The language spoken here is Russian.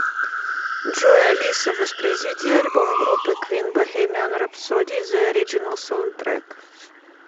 джой алиса воспроизведи альбом группы квин бохемиан рэпсоди зе ориджинал саундтрек